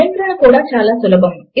నియంత్రణ కూడా సులభము